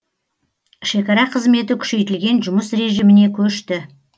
шекара қызметі күшейтілген жұмыс режиміне көшті